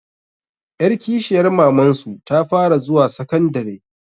Ƴar kishiyar mamansu ta fara zuwa sakandare